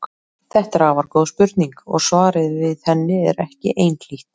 Þetta er afar góð spurning og svarið við henni er ekki einhlítt.